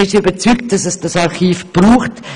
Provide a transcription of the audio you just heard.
Wir sind überzeugt, dass es dieses Archiv braucht.